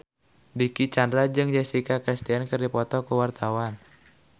Dicky Chandra jeung Jessica Chastain keur dipoto ku wartawan